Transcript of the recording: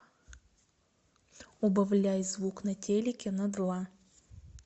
убавляй звук на телике на два